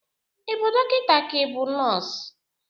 Ị bụ dokịnta ka i bụ nọs?